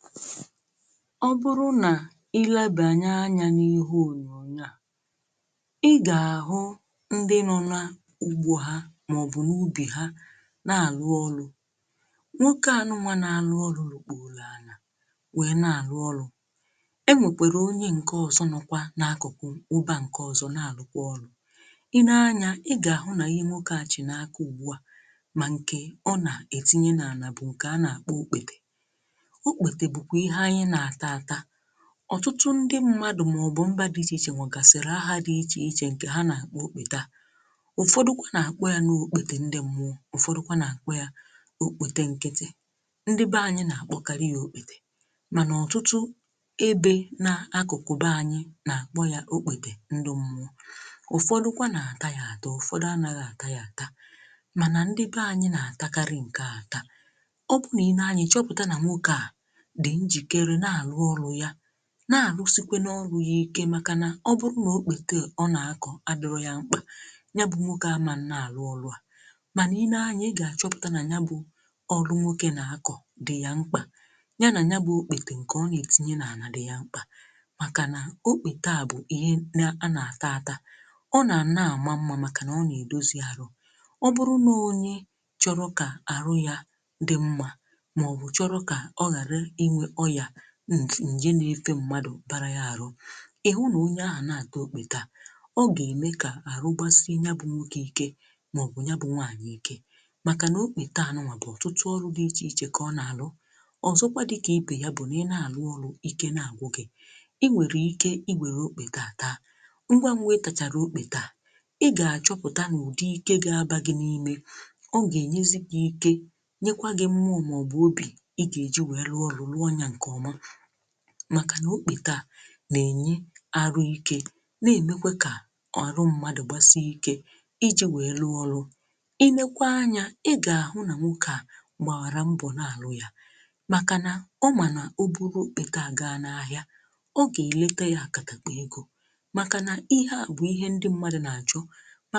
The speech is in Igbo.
ọ bụrụ nà i lee anyȧ n’ihe ònyònyo à ị gà-àhụ aka na-àbọ̀ọ̀ ka ọ kpo otòbo otùgbòrò n’aka o tùgbòrò ọchị̀ n’aka dị̀ mkpụrụ isii ị leekwa anya o jì aka ya na-abọ̀ wee jido ya bụ otùgbòrò aka ahụ̀ chị otùgbòrò ahụ̀ yìrì aka nwoke nke na eji oji i leekwa anya n'ofe akà nrì ị gà-àhụkwà onye jikwe naanị̀ otù akà wee bụdọ̀ ihe a nà-àkpà àgwà n’ihe ọ wụ̀nyèrè ya owukwe ofù akà yà kà o jì wee bụrụ àgwà à n’aka ǹke gosiri gị nà ọ bụrụ nà a chọrọ isi̇ ihe ǹkè a nà-àkpọ mayi mayi e nwèrè ike i wère otù bụ̀rụ̀ à wụnye n'ime agwa a maọbụrụ na asachaa ya asa wee jee kwọọ nya akwọ akwọcha nya a ga-eishi ya n’ọkụ mana bifù tupu eishi ya n’ọkụ a ga-eke ya eke n’akwụkwọ tinye ya n'ite wee sie ya n’ọkụ nke a a ga-emezi na ọ ga-anọzị ọnọdụ dịka mayi mayi nke anyị na-eri eri ọ bụrụ na i naa-anya ọtụtụ ihe dị iche iche ka e ji agwa eme e jikwe na agwà e yee akara maọbụrụ na ị chọọ ka ewèrè ike ịkwọcha àgwà àkwọ mà àtopi ǹkwọ ya ị gà-àmachaa ya àmacha wee kwọọ ya ị kwọcha anyȧ ìtinye mmanụ n’ọkụ wee ghe inye àgwà e jì ya ère àkàrà ọ̀zọ dịkà ibè ya bụ̀ nà i nwèrè ike isi àgwà n’ọkụ wère ji wee sie ya bụ̀ àgwà rie ya màkà nà àgwà ọ nà-ejìkwa ji wee ne èri ya bụ̀ àgwà màkà nà àgwà màrà mmà n'ihi na agwà na-edozi arụ meekwanụ ka arụ gbasie mmadụ̀ ike agwà na-emekwa ka arụ̀ mmadụ̀ bụ elekere agwà nà-enye akà idozi arụ̀ mmadụ̀ ka ọ dị otù o si ruwe kwesì agwà marà mmà nke ukwuu makà nà ndị be anyị̀ na-erikere agwà o kwesiri ka enebère anyà na-akọpụtà agwà makà nà agwà na-enye akà ni idozi arụ agwà na-enyekwà aka ọ bụkwa nri na-adịghị̀ agàlà ọnụ̀ n'obodo anyị ọbụrụ na anyị lee ọtụtụ nri anya ọ na-agala ọnụ̀ mana i lee anya na nri ọ kpọ̀rọ̀ àgwà ọ naghi̇ agàlàbà ụkọ ọnụ̀ ọ bụ̀ nri kekariusiri mpe n’ọnụ egȯ ǹkè a nà-èle ihe ndi a